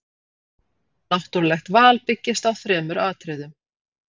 Náttúrulegt val byggist á þremur atriðum.